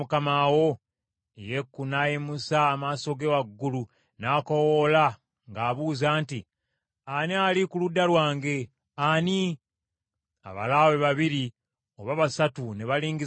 Yeeku n’ayimusa amaaso ge waggulu, n’akoowoola ng’abuuza nti, “Ani ali ku ludda lwange? Ani?” Abalaawe babiri oba basatu ne balingiza mu ddirisa.